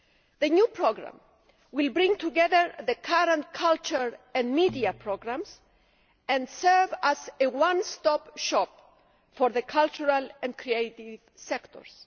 The new programme will bring together the current culture and media programmes and serve as a one stop shop for the cultural and creative sectors.